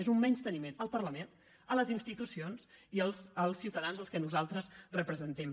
és un menysteniment al parlament a les institucions i als ciutadans als quals nosaltres representem